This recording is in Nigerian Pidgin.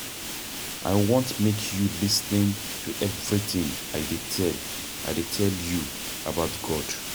I want make you lis ten to everything I dey tell I dey tell you about God.